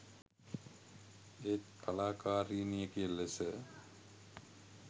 ඒත් කලාකාරිනියක ලෙස